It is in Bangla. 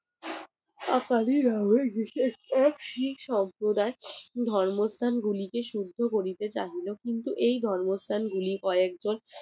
ধর্মস্থান গুলিকে শুদ্ধ করতে চাইলো কিন্তু এই ধর্মস্থানগুলি কয়েকজন